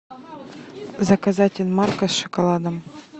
заказать инмарко с шоколадом